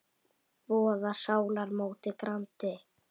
voða sálar móti grandi.